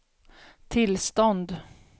tillstånd